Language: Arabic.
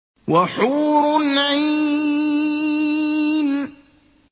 وَحُورٌ عِينٌ